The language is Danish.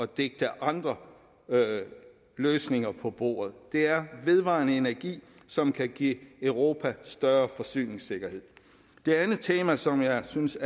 digte andre løsninger på bordet det er vedvarende energi som kan give europa større forsyningssikkerhed det andet tema som jeg synes